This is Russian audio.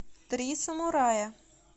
три самурая